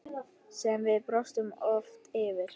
Sem við brostum oft yfir.